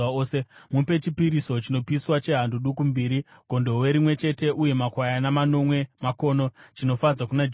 Mupe chipiriso chinopiswa chehando duku mbiri, gondobwe rimwe chete uye makwayana manomwe makono egore rimwe chete, chive chipiriso chinofadza kuna Jehovha.